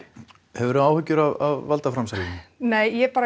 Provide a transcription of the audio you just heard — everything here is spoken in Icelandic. hefurðu áhyggjur af valdaframsalinu nei ég bara